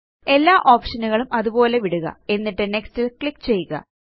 എല്ലാ ഓപ്ഷൻ ഉകളും അതുപോലെ വിടുക എന്നിട്ട് നെക്സ്റ്റ് ല് ക്ലിക്ക് ചെയ്യുക